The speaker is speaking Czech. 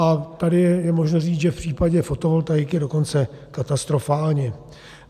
A tady je možno říct, že v případě fotovoltaiky dokonce katastrofálně.